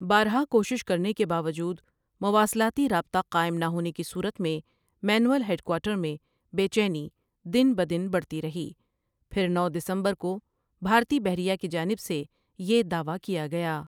بارہا کوشش کرنے کے باوجود مواصلاتی رابطہ قائم نہ ہونے کی صورت میںنیول ہیڈکوارٹر میں بے چینی دن بدن بڑھتی رہی پھر نو دسمبر کو بھارتی بحریہ کی جانب سے یہ دعویٰ کیا گیا ۔